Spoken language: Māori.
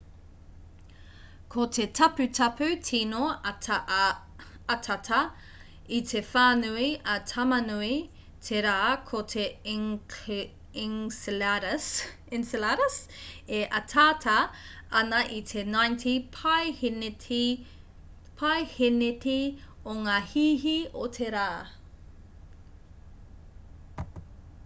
ko te taputapu tīno atata i te whānui a tamanui te rā ko te enceladus e ataata ana i te 90 paehēneti o ngā hīhī o te rā